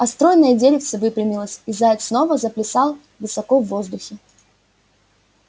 а стройное деревце выпрямилось и заяц снова заплясал высоко в воздухе